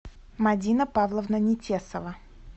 мадина павловна нетесова